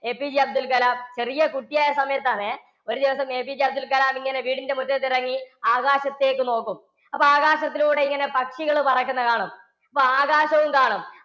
APJ Abdul Kalam ചെറിയ കുട്ടി ആയിരുന്ന സമയത്ത് ആണേ, ഒരു ദിവസം APJ അബ്ദുൽ കലാം വീടിന്റെ മുറ്റത്തിറങ്ങി ആകാശത്തേക്ക് നോക്കും. അപ്പൊ ആകാശത്തിലൂടെ ഇങ്ങനെ പക്ഷികള് പറക്കുന്നത് കാണും. അപ്പൊ ആകാശവും കാണും.